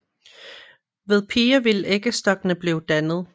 Ved piger vil æggestokkene blive dannet